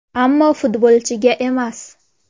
Ammo futbolchiga emas.